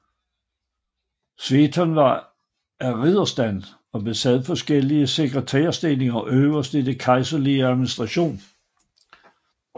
Sveton var af ridderstand og besad forskellige sekretærstillinger øverst i den kejserlige administration